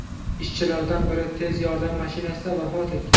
Ishchilardan biri tez yordam mashinasida vafot etgan.